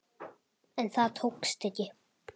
En það tókst ekki.